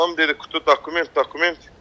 Anam dedi "da dokument, dokument".